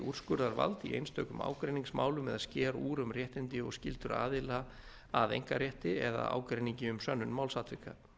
úrskurðarvald í einstökum ágreiningsmálum eða sker úr um réttindi og skyldur aðila að einkarétti eða ágreiningi um sönnun málsatvika